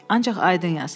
ancaq aydın yaz.